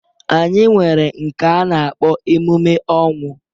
Anyị nwere nke a na-akpọ emume ọnwụ.